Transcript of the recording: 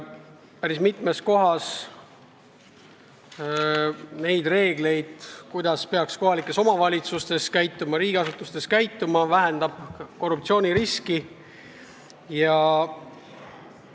Eesmärk on muuta päris mitut reeglit, kuidas peaks kohalikes omavalitsustes ja riigiasutustes käituma, et korruptsiooniriski vähendada.